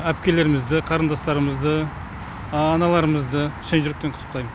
әпкелерімізді қарындастарымызды аналарымызды шын жүректен құттықтаймын